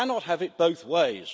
You cannot have it both ways.